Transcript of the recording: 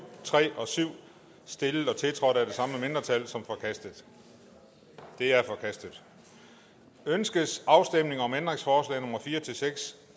tre og syv stillet og tiltrådt af de samme mindretal som forkastet de er forkastet ønskes afstemning om ændringsforslag nummer fire seks